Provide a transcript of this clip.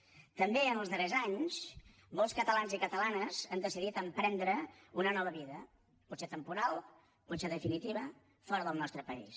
també en els darrers anys molts catalans i catalanes han decidit emprendre una nova vida potser temporal potser definitiva fora del nostre país